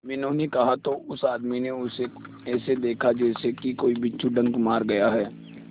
मीनू ने कहा तो उस आदमी ने उसे ऐसा देखा जैसे कि कोई बिच्छू डंक मार गया है